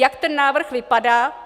Jak ten návrh vypadá?